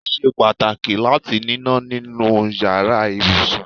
Ó ṣe pàtàkì láti níná nínú iyàrá ibùsùn